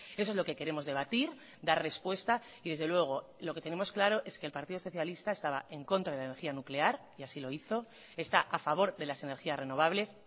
eso es lo que queremos debatir dar respuesta y desde luego lo que tenemos claro es que el partido socialista estaba en contra de la energía nuclear y así lo hizo está a favor de las energías renovables